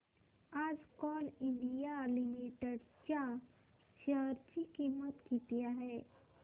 आज coal India limited च्या share ची किंमत किती आहे